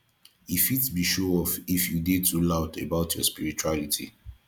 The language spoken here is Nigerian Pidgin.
e fit be showoff if you dey too loud about your spirituality